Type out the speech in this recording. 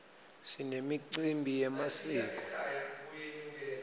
sinemicimbi yemasiko